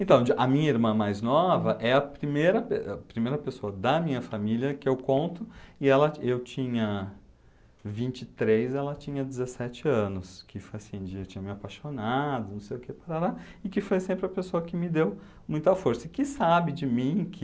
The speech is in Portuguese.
Então, a minha irmã mais nova é a primeira primeira pessoa da minha família que eu conto, e ela, e eu tinha vinte e três, ela tinha dezessete anos, que foi assim, de, eu tinha me apaixonado, não sei o que, e que foi sempre a pessoa que me deu muita força, que sabe de mim, que...